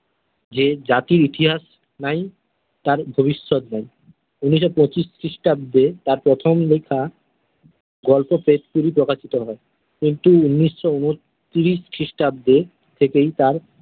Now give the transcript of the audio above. যে জাতির ইতিহাস নাই, তার ভবিষ্যৎ নাই। ঊনিশশো পঁচিশ খ্রিস্টাব্দে তার প্রথম লেখা গল্প শেষ ছবি প্রকাশিত হয় কিন্তু ঊনিশশো উন্নতিরিশ খ্রিস্টাব্দে থেকেই তাঁর।